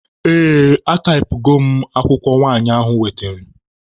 Ee, ataipụgo m akwụkwọ nwanyị ahụ wetere.